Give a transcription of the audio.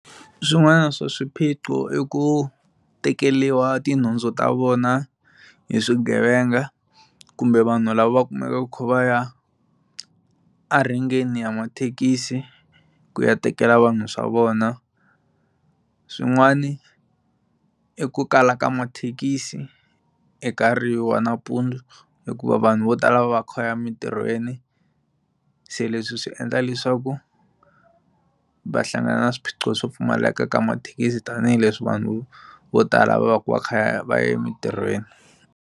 Swin'wana swa swiphiqo i ku tekeriwa tinhundzu ta vona hi swigevenga kumbe vanhu lava va kumekaka va kha va ya a renkeni ya mathekisi ku ya tekela vanhu swa vona swin'wani i ku kala ka mathekisi wa nampundzu hikuva vanhu vo tala va va kha va ya emitirhweni se leswi swi endla leswaku va hlangana na swiphiqo swo pfumaleka ka mathekisi tanihileswi vanhu vo tala va va ka va kha va ya emitirhweni.